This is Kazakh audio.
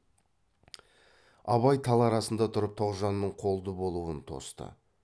абай тал арасында тұрып тоғжанның қолды болуын тосты